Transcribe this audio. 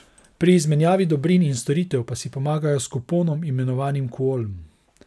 Pri izmenjavi dobrin in storitev pa si pomagajo s kuponom imenovanim kuolm.